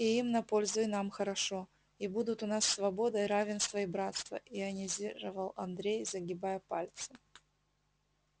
и им на пользу и нам хорошо и будут у нас свобода и равенство и братство ионизировал андрей загибая пальцы